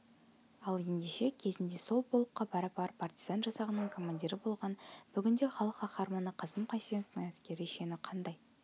ал ендеше кезінде сол полкқа пара-пар партизан жасағының командирі болған бүгінде халық қаһарманы қасым қайсеновтің әскери шені қандай